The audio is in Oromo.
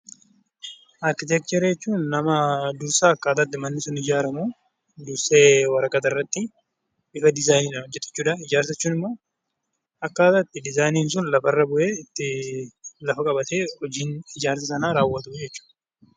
Arkiteekcharii jechuun dursa akkaataa itti manni sun ijaaramu dursee waraqata irratti bifa diizaayinii dhaan hojjetu jechuu dha. Ijaarsa jechuun immoo akkaataa itti diizaayiniin sun lafa irra bu'ee, itti lafa qabatee hojiin ijaarsa sanaa raawwatu jechuu dha.